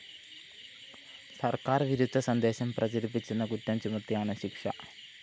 സര്‍ക്കാര്‍ വിരുദ്ധ സന്ദേശം പ്രചരിപ്പിച്ചെന്ന കുറ്റം ചുമത്തിയാണ് ശിക്ഷ